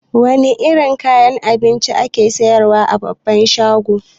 Wane irin kayan abinci ake siyar wa a babbar shago?